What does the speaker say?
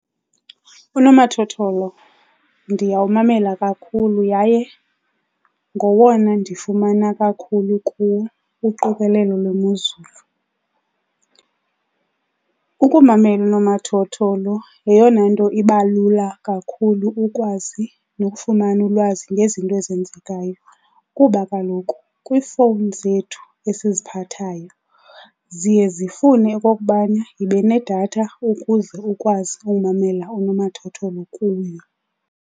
Unomathotholo ndiyawumamela kakhulu yaye ngowona ndifumana kakhulu kuwo uqikelelo lwemozulu. Ukumamela unomathotholo yeyona nto iba lula kakhulu ukwazi nokufumana ulwazi ngezinto ezenzekayo kuba kaloku kwiifowuni zethu esiziphathayo ziye zifune okokubana yibe nedatha ukuze ukwazi umamela unomathotholo kuyo.